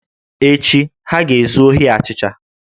Echi, ha ga-ezu ohi achịcha